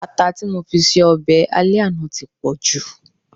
ata ti mofi ṣe obe ale àná ti po ju